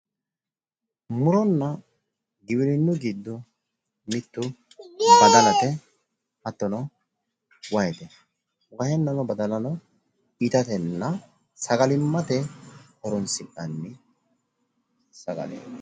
Muronna giwirinnu giddo mittu badalate, hattono wahete. wahenna badalanno itatenna sagalimmate horonssi'nanni sagaleeti.